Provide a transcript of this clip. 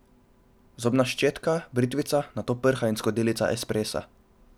Zobna ščetka, britvica, nato prha in skodelica espresa.